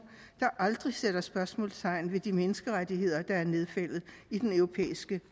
der aldrig sætter spørgsmålstegn ved de menneskerettigheder der er nedfældet i den europæiske